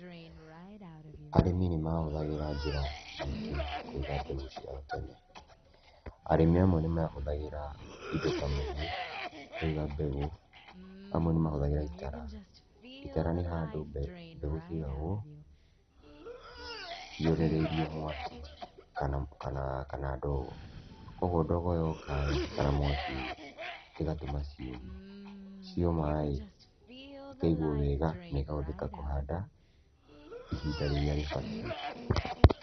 Arĩmi nĩ mahũthagira njĩra nyingĩ kũiga mbegũ ciao tene. Arĩmi amwe nĩmahũthagĩra indo ta mũhu kũiga mbegũ, amwe nĩ mahũthagĩra itara. Itara nĩ handũ mbegũ ciaigagwo cionereirio mwaki kana ndogo. Kũoguo ndogo yoka-ĩ kana mwaki, ĩgatũma ciũme. Cioma-ĩ, ikaigwo wega na ikahũthĩka kũhanda ihinda rĩrĩa rĩbatiĩ.